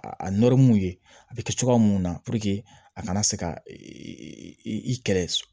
A a ye a bi kɛ cogoya mun na a kana se ka i kɛlɛ